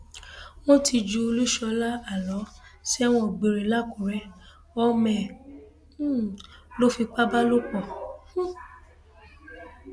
wọn ti ju olúṣọlá àlọ sẹwọn gbére làkùrẹ ọmọ ẹ um lọ fipá bá lò pọ um